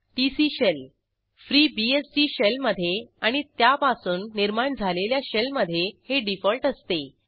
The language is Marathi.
टीसी शेल FreeBSD शेल मधे आणि त्यापासून निर्माण झालेल्या शेलमधे हे डिफॉल्ट असते